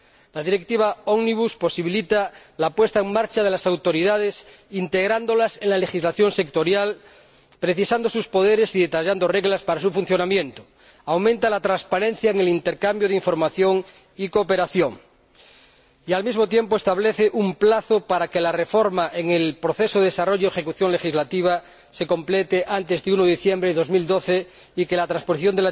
La Directiva Omnibus posibilita la puesta en marcha de las autoridades, integrándolas en la legislación sectorial, precisando sus poderes y detallando reglas para su funcionamiento, aumenta la transparencia en el intercambio de información y cooperación y, al mismo tiempo, establece un plazo para que la reforma en el proceso de desarrollo de ejecución legislativa se complete antes del 1 de diciembre de 2012 y que la transposición